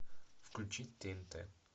включить тнт